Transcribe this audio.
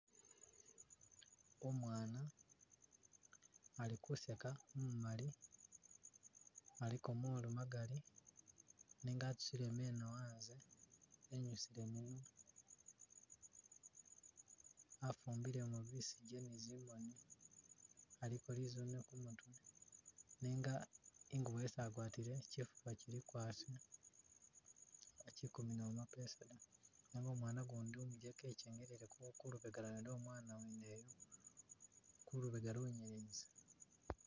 Umwana ali khuseka umumali aliko molu magali nenga atusile meno antse enyusilemo afumbilemo bisige ne tsimoni aliko lizune kumutwe nenga ingube isi agwatile chifuba chili kwasha achi kumina mapesa da nenga umwana ugundi umujeke echengelele kulubega kulubega lwo umwana wene uyo kulubega lungene busa